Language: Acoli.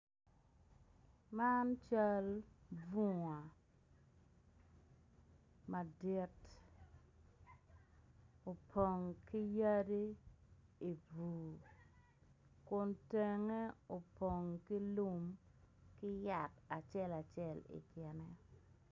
Man cal bunga madit opong ki yadi ibur kun tenge opng ki lum ki yat acel acel i kine.